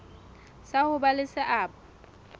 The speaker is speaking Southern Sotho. sa ho ba le seabo